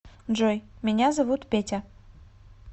джой меня зовут петя